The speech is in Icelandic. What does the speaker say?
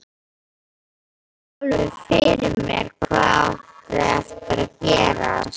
Sá alveg fyrir mér hvað átti eftir að gerast.